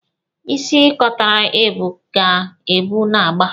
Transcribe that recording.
Isi kotara ebu ka ebu na-agba.